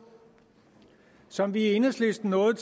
som vi i enhedslisten nåede